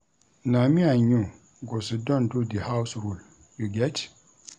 Na me and you go siddon do di house rule, you get?